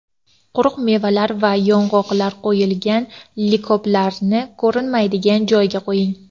Quruq mevalar va yong‘oqlar qo‘yilgan likoplarni ko‘rinmaydigan joyga qo‘ying.